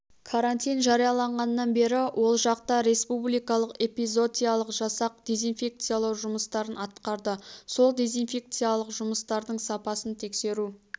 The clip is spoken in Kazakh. карантин жарияланғаннан бері ол жақта республикалық эпизотиялық жасақ дизинфекциялау жұмыстарын атқарды сол дизинфекциялық жұмыстардың сапасын тексеру